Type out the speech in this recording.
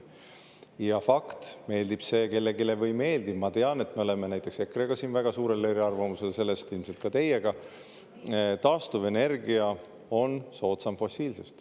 Ja fakt on, meeldib see kellelegi või ei meeldi – ma tean, et me oleme näiteks EKRE-ga siin väga suurel eriarvamusel ja ilmselt ka teiega –, et taastuvenergia on soodsam kui fossiilne.